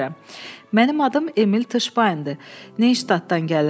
Mənim adım Emil Tışpaundur, Neyştatdan gəlirəm.